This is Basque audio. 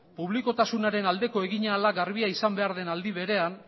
publikotasunaren aldeko egin ahalak garbia izan behar den aldi berean